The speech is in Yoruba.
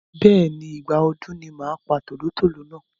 Bẹ́ẹ̀ni, Ìgbà ọdún ni màá pa tòlótòló náà.